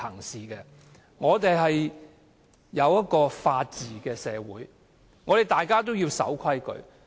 香港是法治社會，大家都要守規矩。